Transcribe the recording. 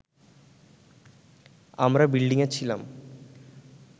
আমরা বিল্ডিংয়ে ছিলাম